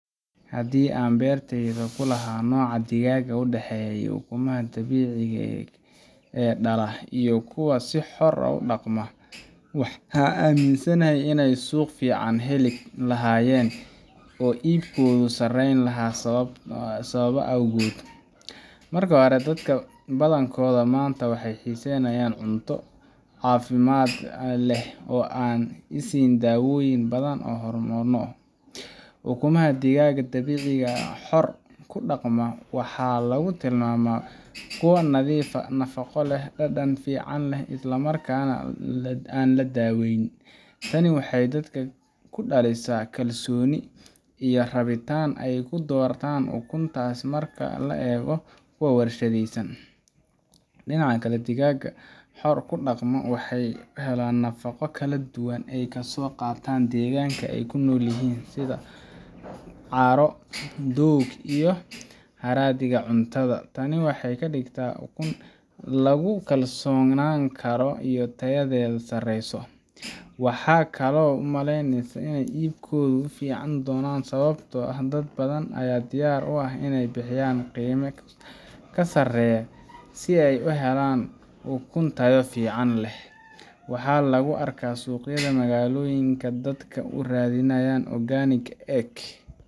Haddii aan beertayda ku lahaa nooca digaagga u dhexeya kuwa ukumaha dabiiciga ah dhala iyo kuwa si xor ah u dhaqma , waxaan aaminsanahay inay suuq fiican heli lahaayeen oo iibkoodu sareyn lahaa sababo dhowr ah awgood. Marka hore, dadka badankood maanta waxay xiiseynayaan cuntooyin caafimaad leh oo aan la siinin dawooyin badan ama hormoonno. Ukumaha digaagga dabiiciga ah ama xor ku dhaqma waxaa lagu tilmaamaa kuwo nadiif ah, nafaqo leh, dhadhan fiican leh, isla markaana aan la daaweyn. Tani waxay dadka ku dhalisaa kalsooni iyo rabitaan ay ku doortaan ukuntaas marka loo eego kuwa warshadaysan. Dhinaca kale, digaagga xor ku dhaqma waxay helaan nafaqo kala duwan oo ay kasoo qaataan deegaanka ay ku nool yihiin — sida caaro, doog iyo haraadiga cuntada. Tani waxay ka dhigtaa ukun lagu kalsoonaan karo oo tayadeeda sareyso. Waxaan kaloo u maleynayaa in iibkooda uu fiicnaan doono sababtoo ah dad badan ayaa diyaar u ah inay bixiyaan qiime ka sareeya si ay u helaan ukun tayo fiican leh. Waxaa lagu arkaa suuqyada magaalooyinka dadka oo raadinaya organic egg